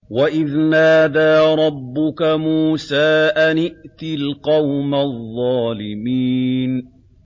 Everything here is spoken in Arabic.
وَإِذْ نَادَىٰ رَبُّكَ مُوسَىٰ أَنِ ائْتِ الْقَوْمَ الظَّالِمِينَ